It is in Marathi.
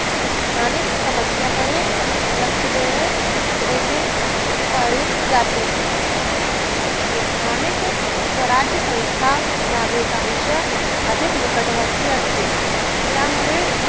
स्थानिक समस्यांकडे लक्ष देणे देखील कठीण जाते. स्थानिक स्वराज्यसंस्था नागरिकांच्या अधिकनिकटेवरती असते. त्यामुळे